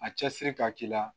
A cɛsiri ka k'i la